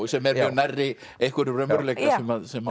sem er nærri einhverjum raunveruleika sem